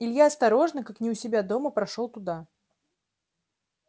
илья осторожно как не у себя дома прошёл туда